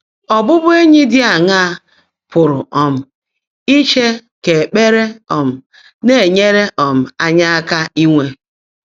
Ọ́bụ́bụ́éńyí dị́ áṅaá pụ́rụ́ um ícheè kà ékpèré um ná-ènyèèré um ányị́ áká ínwé?